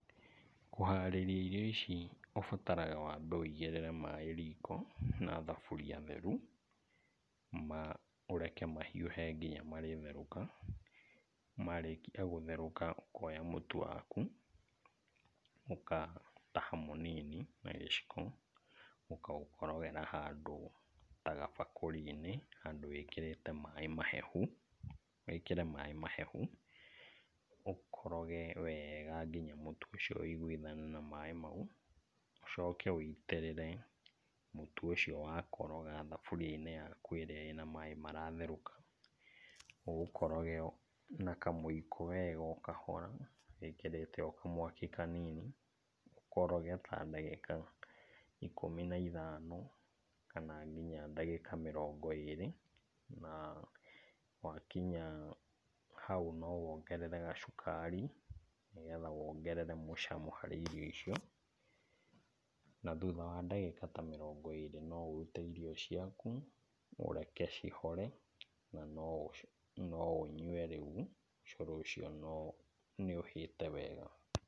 Kũharĩria irio ici ũbataraga wambe wĩigĩrĩre maĩ riko na thaburia theru, ma ũreke mahiũhe kinya marĩtherũka. Marĩkia gũtherũka ũkoya ũtu waku, ũkataha mũnini na gĩciko ũkaũkorogera handũ ta gabakũri-inĩ handũ wĩkĩrĩte maĩ mahehu, wĩkĩre maĩ mahehu, ũkoroge wega nginya mũtu ũcio wĩiguithane na maĩ mau. Ũcoke wĩitĩrĩre mũtu ũcio wakoroga thaburia-inĩ yaku ĩrĩa ĩna maĩ maratherũka. Ũũkoroge o na kamũiko wega o kahora wĩkĩrĩte o kamwaki kanini, ũkoroge ta ndagĩka ikũmi na ithano kana nginya ndagĩka mĩrongo ĩrĩ, na wakinya hau no wongerere gacukari nĩgetha wongerere mũcamo harĩ irio icio. Na, thutha wa ndagĩka ta mĩrongo ĩrĩ no ũrute irio ciaku, ũreke cihore na no no ũnyue rĩu cũrũ ũcio nĩũhĩte wega.